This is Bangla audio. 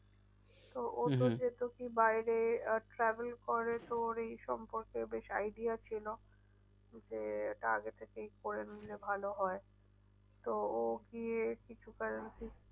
তো ও তো যেহেতু কি বাইরে আহ travel করে তো ওর এই সম্পর্কে বেশ idea ছিল। যে এটা আগে থেকে করে নিলে ভালো হয়। তো ও গিয়ে কিছু currency